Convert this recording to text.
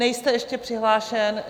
Nejste ještě přihlášen.